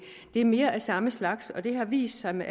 er mere af samme slags og det har vist sig med